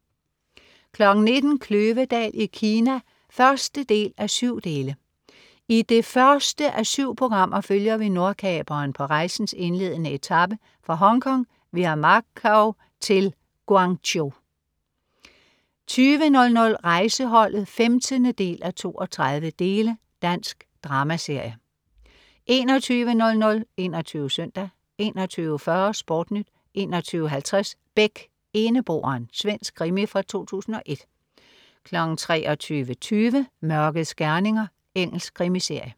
19.00 Kløvedal i Kina 1:7. I det første af syv programmer følger vi Nordkaperen på rejsens indledende etape, fra Hongkong via Macau til Guangzhou 20.00 Rejseholdet 15:32. Dansk dramaserie 21.00 21 Søndag 21.40 SportNyt 21.50 Beck, Eneboeren. Svensk krimi fra 2001 23.20 Mørkets gerninger. Engelsk krimiserie